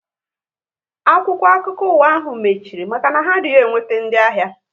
Akwụkwọ akụkọ ụwa ahu mechiri maka na ha adịghị enweta ndị ahịa